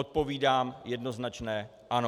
Odpovídám jednoznačné ano.